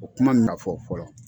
O kuma nin ka fɔ fɔlɔ.